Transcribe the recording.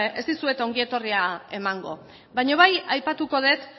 ez dizuet ongi etorria emango baina bai aipatuko dut